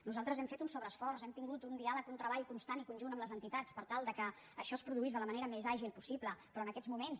nosaltres hem fet un sobreesforç hem tingut un diàleg un treball constant i conjunt amb les entitats per tal que això es produís de la manera més àgil possible però en aquests moments